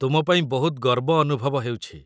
ତୁମ ପାଇଁ ବହୁତ ଗର୍ବ ଅନୁଭବ ହେଉଛି ।